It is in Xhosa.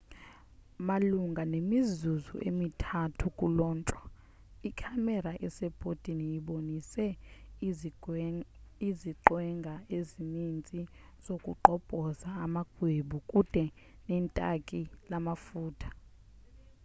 malunga nemizuzu emi-3 kulontshwe ikhamera esebhodini ibonise iziqwenga ezininzi zokugqobhoza amagwebu kude netanki lamafutha